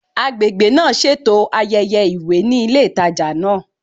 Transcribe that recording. Agbègbè náà ṣètò ayẹyẹ ìwé ní ilé ìtajà náà